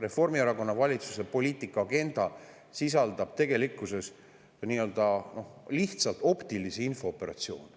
Reformierakonna valitsuse poliitika ja agenda sisaldab tegelikkuses lihtsalt optilisi infooperatsioone.